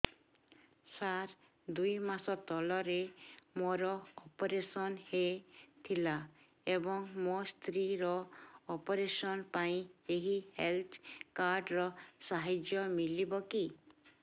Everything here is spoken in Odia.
ସାର ଦୁଇ ମାସ ତଳରେ ମୋର ଅପେରସନ ହୈ ଥିଲା ଏବେ ମୋ ସ୍ତ୍ରୀ ର ଅପେରସନ ପାଇଁ ଏହି ହେଲ୍ଥ କାର୍ଡ ର ସାହାଯ୍ୟ ମିଳିବ କି